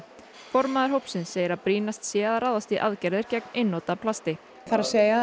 formaður hópsins segir að brýnast sé að ráðast í aðgerðir gegn einnota plasti það er